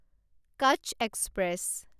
Kutch express